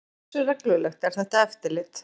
En hversu reglulegt er þetta eftirlit?